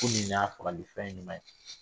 Cogo min na fagali fɛn